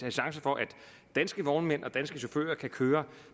en chance for at danske vognmænd og danske chauffører kan køre